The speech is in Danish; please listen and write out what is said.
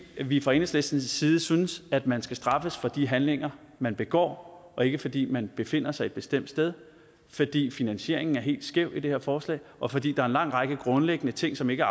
vi fra enhedslistens side synes at man skal straffes for de handlinger man begår og ikke fordi man befinder sig et bestemt sted fordi finansieringen er helt skæv i det her forslag og fordi der er en lang række grundlæggende ting som ikke